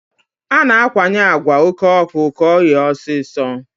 A na-akwanye àgwà oké ọkụ ka ọ ghee ọsịsọ.